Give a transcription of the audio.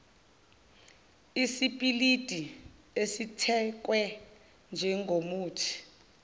isipiliti esithakwe njengomuthi